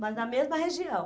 Mas na mesma região.